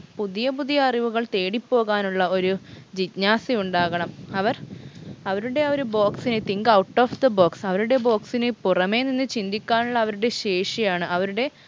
പുതിയ പുതിയ അറിവുകൾ തേടിപോകാനുള്ള ഒരു ജിജ്ഞാസയുണ്ടാകണം അവർ അവരുടെ ആ ഒരു box നെ think out of the box അവരുടെ box നെ പുറമെ നിന്ന് ചിന്തിക്കാനുള്ള അവരുടെ ശേഷിയാണ് അവരുടെ